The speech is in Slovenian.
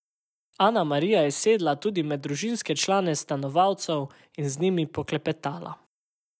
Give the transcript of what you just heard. Ana Marija je sedla tudi med družinske člane stanovalcev in z njimi poklepetala.